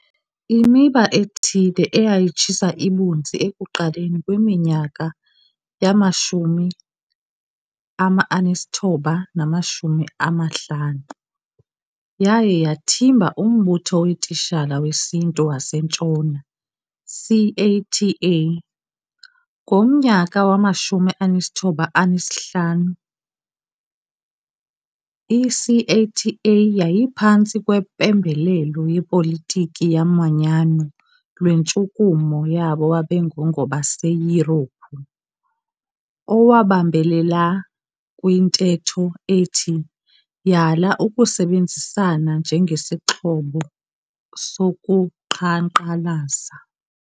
Imiba ethile eyayitshisa ibunzi ekuqaleni kweminyaka yama-1950, yaye yathimba umbutho weetitshala wesiNtu waseNtshona, CATA. Ngomnyaka wama-1950 ICATA yayiphantsi kwempembelelo yepolitiki yomanyano lwentshukumo yabo babengungobaseYurophu, owabambelela kwintetho ethi "Yala ukusebenzisana njengesixhobo sokuqhankqalaza".